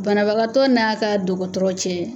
Banabagatɔ n'a ka dɔgɔtɔrɔcɛ.